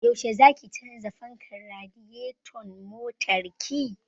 Yaushe zaki canza fankar radiyeton motar ki?